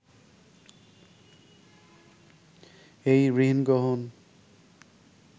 এই ঋণগ্রহণ